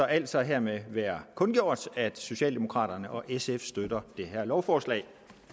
altså hermed være kundgjort at socialdemokraterne og sf støtter det her lovforslag